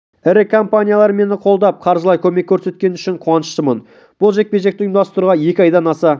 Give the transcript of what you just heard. ірі компаниялары мені қолдап қаржылай көмек корсеткені үшін қуаныштымын бұл жекпе-жекті ұйымдастыруға екі айдан аса